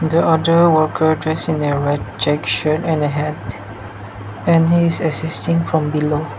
the other worker dressed in a red check shirt and a hat and he's assisting from below.